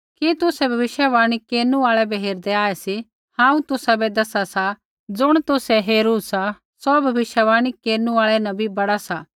कि तुसै कोई भविष्यवाणी केरनु आल़ै बै हेरदै आऐ सी हांऊँ तुसाबै दसा सा ज़ुण तुसै हेरू सा सौ भविष्यवाणी केरनु आल़ा न भी बड़ा सा